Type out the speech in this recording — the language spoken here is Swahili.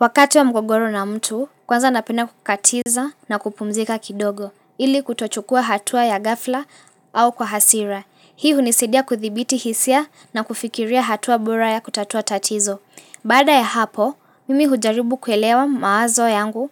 Wakati wa mgogoro na mtu, kwanza napenda kukatiza na kupumzika kidogo, ili kutochukua hatua ya gafla au kwa hasira. Hii hunisidia kudhibiti hisia na kufikiria hatua bora ya kutatua tatizo. Baada ya hapo, mimi hujaribu kuelewa mawazo yangu